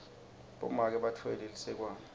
bomake batfwele lisekwane